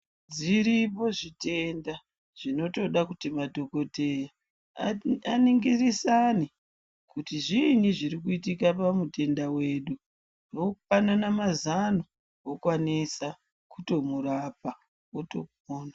Zviripo zvitenda zvinotode kuti madhokodheya aningirisane kuti zviinyi zvirikuitika pamutenda wedu vopanana mazano vokwanisa kumurapa wotopona.